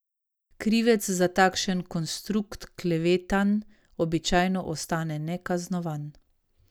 Krivec za takšen konstrukt klevetanj običajno ostane nekaznovan.